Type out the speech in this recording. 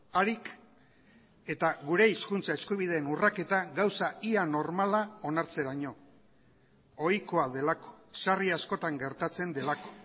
harik eta gure hizkuntza eskubideen urraketa gauza ia normala onartzeraino ohikoa delako sarri askotan gertatzen delako